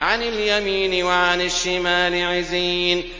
عَنِ الْيَمِينِ وَعَنِ الشِّمَالِ عِزِينَ